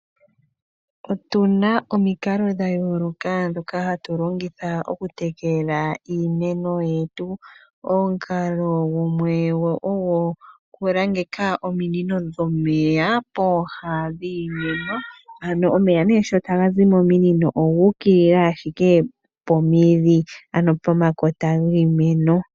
Otuna omikalo dhayooloka ndhoka hatu longitha okutekela iimeno yetu. Omukalo gumwe ogo okulangeka ominino dhomeya pooha dhiimeno. Ano omeya nee sho taga zi mominino oguukilila ashike pomidhi, ano pomakota giimeno.